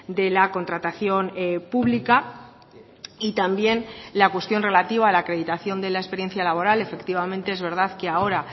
de la contratación pública y también la cuestión relativa a la acreditación de la experiencia laboral efectivamente es verdad que ahora